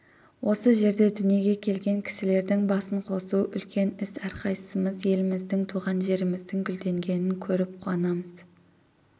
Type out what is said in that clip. осы жерде дүниеге келген кісілердің басын қосу үлкен іс әрқайсысымыз еліміздің туған жеріміздің гүлденгенін көріп қуанамыз